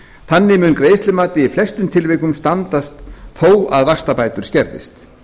þannig mun greiðslumat í flestum tilvikum standast þó að vaxtabætur skerðist